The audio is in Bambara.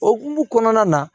O hokumu kɔnɔna na